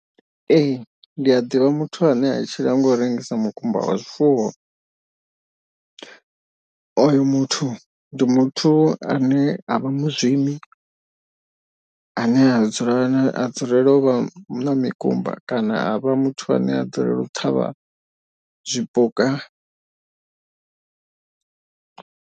Ee ndi a ḓivha muthu ane a tshila nga u rengisa mukumba wa zwifuwo. Oyo muthu ndi muthu ane a vha mazwimi ane a dzula a dzulele u vha mikumba kana a vha muthu ane a dzulela u ṱhavha zwipuka.